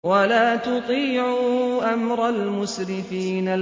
وَلَا تُطِيعُوا أَمْرَ الْمُسْرِفِينَ